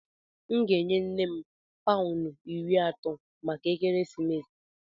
M ga-enye nne m paụnụ iri atọ maka ekeresimesi.